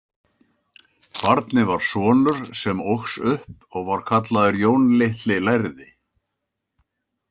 Barnið var sonur, sem óx upp og var kallaður Jón litli lærði.